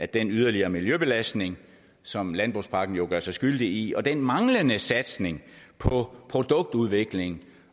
den yderligere miljøbelastning som landbrugspakken jo gør sig skyldig i og den manglende satsning på produktudvikling